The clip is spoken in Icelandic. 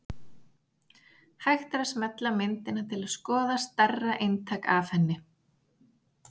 Hægt er að smella á myndina til að skoða stærra eintak af henni.